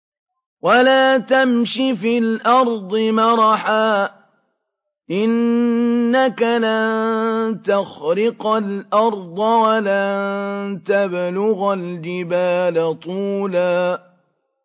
وَلَا تَمْشِ فِي الْأَرْضِ مَرَحًا ۖ إِنَّكَ لَن تَخْرِقَ الْأَرْضَ وَلَن تَبْلُغَ الْجِبَالَ طُولًا